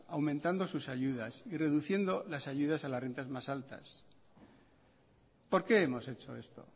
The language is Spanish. aumentando sus ayudas y reduciendo las ayudas a las rentas más altas por qué hemos hecho esto